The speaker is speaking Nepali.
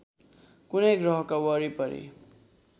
कुनै ग्रहको वरिपरि